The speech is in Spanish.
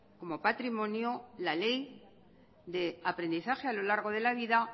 como patrimonio la ley de aprendizaje a lo largo de la vida